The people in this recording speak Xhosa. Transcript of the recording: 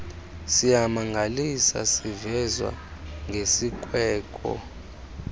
siyamangalisa sivezwa ngesikweko